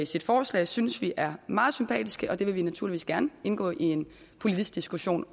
sit forslag synes vi er meget sympatisk og det vil vi naturligvis gerne indgå i en politisk diskussion